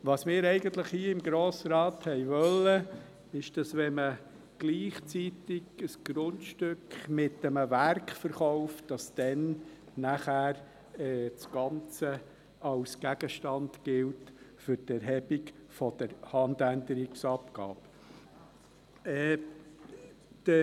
Was wir eigentlich hier im Grossen Rat wollten, war, dass, wenn man gleichzeitig ein Grundstück mit einem Werk verkauft, dann das Ganze als Gegenstand für die Erhebung der Handänderungsabgabe gilt.